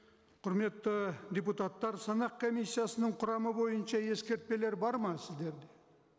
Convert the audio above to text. құрметті депутаттар санақ комиссиясының құрамы бойынша ескертпелер бар ма сіздерде